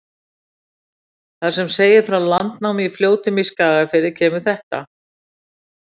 Þar sem segir frá landnámi í Fljótum í Skagafirði, kemur þetta: